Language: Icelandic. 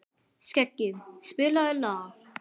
Skeggi, spilaðu lag.